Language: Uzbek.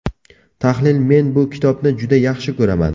Tahlil Men bu kitobni juda yaxshi ko‘raman.